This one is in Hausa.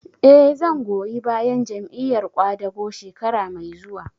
Eh, zan goyi bayan Jam'iyar ƙwadago shekara mai zuwa